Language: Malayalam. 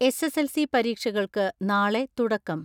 എസ്.എസ്.എൽ.സി. പരീക്ഷകൾക്ക് നാളെ തുടക്കം.